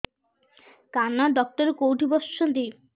କାନ ଡକ୍ଟର କୋଉଠି ବସୁଛନ୍ତି